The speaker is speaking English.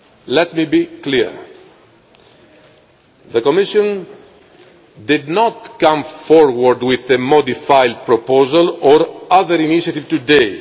be. Let me be clear the Commission has not come forward with a modified proposal or other initiative